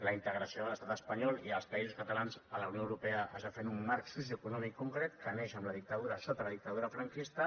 la integració de l’estat espanyol i dels països catalans a la unió europea es va fer en un marc socioeconòmic concret que neix sota la dictadura franquista